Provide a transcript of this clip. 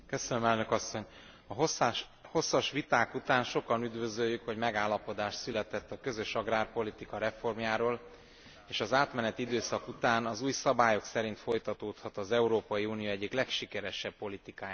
A hosszas viták után sokan üdvözöljük, hogy megállapodás született a közös agrárpolitika reformjáról, és az átmeneti időszak után az új szabályok szerint folytatódhat az Európai Unió egyik legsikeresebb politikájának története.